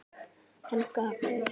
Hann gapir.